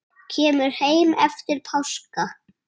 Kemur heim eftir páska.